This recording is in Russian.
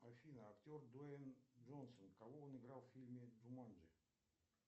афина актер дуэйн джонсон кого он играл в фильме джуманджи